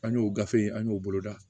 An y'o gafe in an y'o boloda